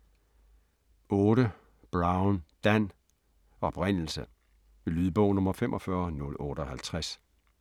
8. Brown, Dan: Oprindelse Lydbog 45058